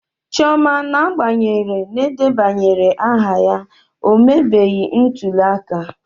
Chioma n'agbanyeghị edebanyere aha ya, o mebeghị ntuli aka.